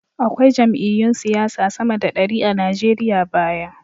Akwai jam’iyyun siyasa sama da dari a Nigeriya baya.